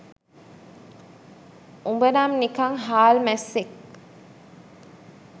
උඹනම් නිකන් හාල් මැස්සෙක්